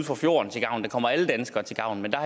for fjorden til gavn den kommer alle danskere til gavn men der